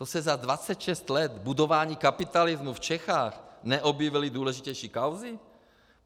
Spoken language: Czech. To se za 26 let budování kapitalismu v Čechách neobjevily důležitější kauzy?